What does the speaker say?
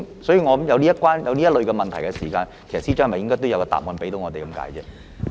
所以，我認為當有這類問題出現時，司長是否應該也向我們作出解釋？